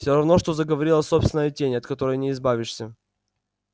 все равно что заговорила собственная тень от которой не избавишься